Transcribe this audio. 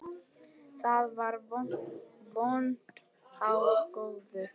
Þá var von á góðu.